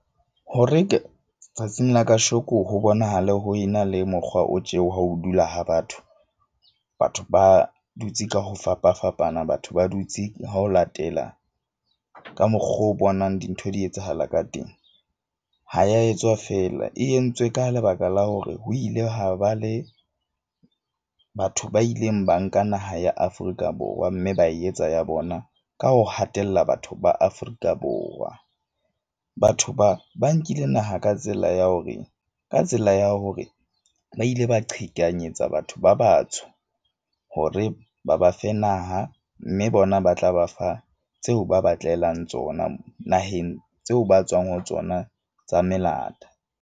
Hore tsatsing la kasheko ho bonahale ho ena le mokgwa o tjeho, ha o dula ha batho. Batho ba dutse ka ho fapafapana, batho ba dutse ho latela ka mokgo o bonang dintho di etsahala ka teng. Ha ya etswa fela e entswe ka lebaka la hore ho ile ha ba le batho ba ileng ba nka naha ya Afrika Borwa. Mme ba etsa ya bona ka ho hatella batho ba Afrika Borwa. Batho ba ba nkile naha ka tsela ya hore ka tsela ya hore ba ile ba qhekanyetsa batho ba batsho, hore ba ba fe naha. Mme bona ba tla ba fa tseo ba batlelang tsona naheng tseo ba tswang ho tsona tsa melata.